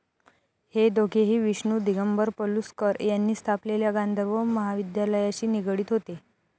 हे दोघेही विष्णू दिगंबर पलुस्कर यांनी स्थापलेल्या गांधर्व महाविद्यालयाशी निगडीत होते.